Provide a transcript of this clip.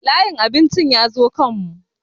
Layin abincin ya zo kan mu